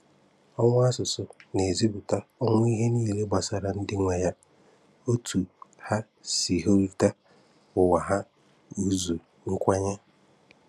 Ọnwụ̀ asụ̀sụ́ na-ezìpụ̀tà ọnwụ̀ ihe niile gbasàrà ndị nwe ya – ótu hà sì ríhụ́ta ǔwà hà, ǔzụ́, nkwènyé.